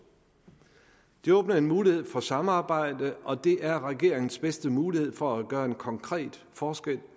det åbner en mulighed for samarbejde og det er regeringens bedste mulighed for at gøre en konkret forskel